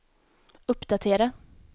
uppdatera